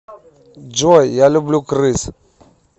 джой я люблю крыс